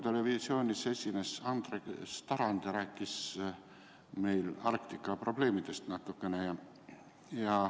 Hommikul esines televisioonis Andres Tarand ja rääkis meile natukene Arktika probleemidest.